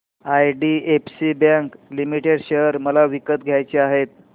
IDFC bank limited share मला विकत घ्यायचे आहेत